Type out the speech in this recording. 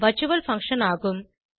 virtual function ஆகும்